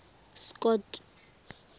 scott